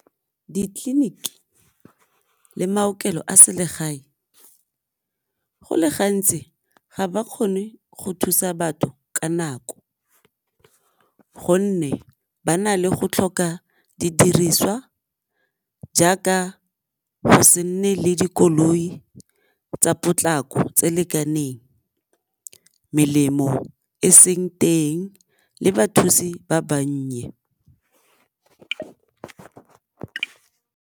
Ditleliniki le maokelo a selegae go le gantsi ga ba kgone go thusa batho ka nako, gonne ba na le go tlhoka didiriswa jaaka go se nne le dikoloi tsa potlako tse lekaneng melemo e seng teng le bathusi ba bannye.